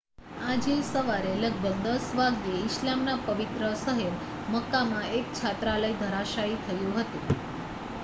આજે સવારે લગભગ 10 વાગ્યે ઈસ્લામના પવિત્ર શહેર મક્કામાં એક છાત્રાલય ધરાશાયી થયું હતું